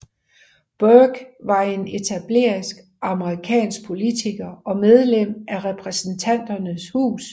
Bourke var en etableret amerikansk politiker og medlem af Repræsentanternes Hus